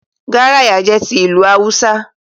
Garaya jẹ́ ìlù ti Awúsá